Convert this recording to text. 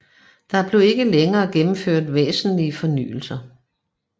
Der blev ikke længere gennemført væsentlige fornyelser